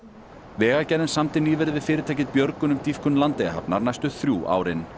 vegagerðin samdi nýverið við fyrirtækið björgun um dýpkun Landeyjahafnar næstu þrjú árin